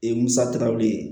musatigɛw le